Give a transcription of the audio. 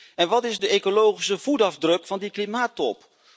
En wat is de ecologische voetafdruk van die klimaattop?